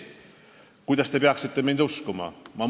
Kuidas te saaksite mind uskuda?